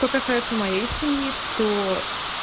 что касается моей семьи то